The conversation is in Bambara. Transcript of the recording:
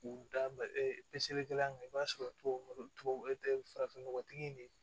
K'u da peseli kɛla maɲi i b'a sɔrɔ tubabu nɔgɔ tubabu farafinnɔgɔtigi in de